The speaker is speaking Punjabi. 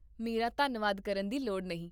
ਮੇਰਾ ਧੰਨਵਾਦ ਕਰਨ ਦੀ ਲੋੜ ਨਹੀਂ